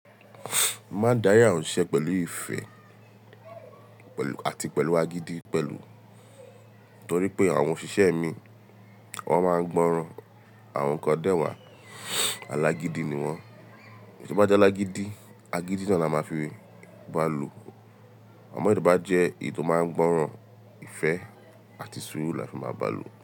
Má dàya o se pẹ̀lú ìfẹ́ pẹ̀lú àti pẹ̀lú agídí pẹ̀lú, torí pé àwọn òṣìṣẹ́ mi wọ́n máa ń gbọ́ran àwọn nǹkan dẹ́wàá alágídí ni wọ́n. Èyí tó bá jẹ́ alágídí, agídí náà la máa fi bá lò. Àmọ́ èyí tó bá jẹ́ èyí tó máa ń gbọ́ran ìfẹ́ àti sùúrù la fi máa bá lò.